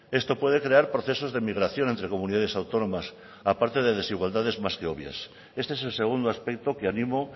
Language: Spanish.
esto puede crear procesos de migración entre comunidades autónomas a parte de desigualdades más que obvias este es el segundo aspecto que animo